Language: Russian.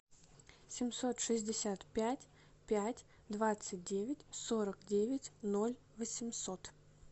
семьсот шестьдесят пять пять двадцать девять сорок девять ноль восемьсот